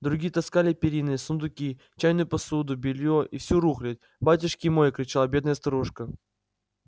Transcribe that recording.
другие таскали перины сундуки чайную посуду бельё и всю рухлядь батюшки мои кричала бедная старушка